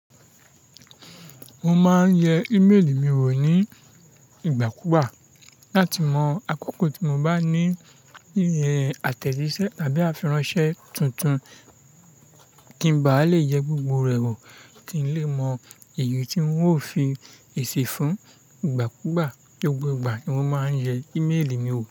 Mo máa ń yẹ ìméèlì mi wò ní ìgbà kú gbà láti mọ àkókò tí mo bá ní iye àtẹ̀jíṣẹ́ tàbí àfiran ṣẹ́ tuntun kí ń ba lè yẹ gbogbo rẹ̀ wò kí n lè mọ èyí tí ń ó fi èsì fún ìgbà kù gbà. Gbogbo ìgbà ni mo máa ń yẹ ìméèlì mi wò.